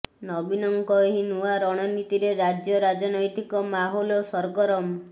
ନବୀନଙ୍କ ଏହି ନୂଆ ରଣନୀତିରେ ରାଜ୍ୟ ରାଜନୈତିକ ମାହୋଲ ସରଗରମ